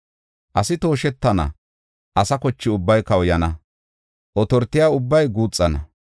Asi tooshetana; asa koche ubbay kawuyana; otortiya ubbay guuxana.